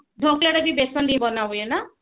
ଢୋକଲା ଟା ବି ବେସନରେ ବନାହୁଏ ନା